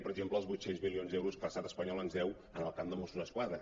per exemple els vuit cents milions d’euros que l’estat espanyol ens deu en el camp de mos·sos d’esquadra